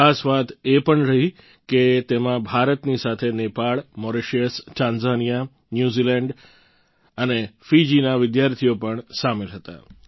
ખાસ વાત એ પણ રહી કે તેમાં ભારતની સાથે નેપાળ મોરેશિયસ ટાંઝાનિયા ન્યૂઝીલેન્ડ અને ફીજીના વિદ્યાર્થીઓ પણ સામેલ હતા